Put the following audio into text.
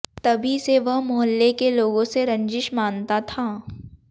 तभी से वह मोहल्ले के लोगों से रंजिश मानता था